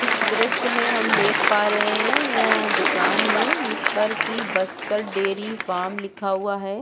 इस दृश्य में हम देख पा रहै है यहाँ दुकान है जिस पर की बस्तर डेरी फार्म लिखा हुआ हैं।